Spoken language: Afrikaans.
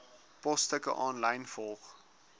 posstukke aanlyn volg